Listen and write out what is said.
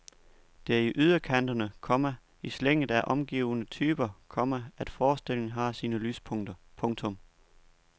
Det er i yderkanterne, komma i slænget af omgivende typer, komma at forestillingen har sine lyspunkter. punktum